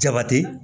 Jabati